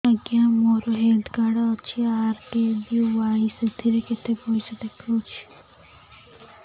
ଆଜ୍ଞା ମୋର health card ଅଛି ଆର୍.କେ.ବି.ୱାଇ ସେଥିରେ କେତେ ପଇସା ଦେଖଉଛି